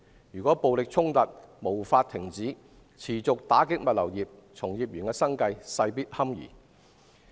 如果暴力衝突無法停止，物流業將受到持續打擊，從業員的生計堪虞。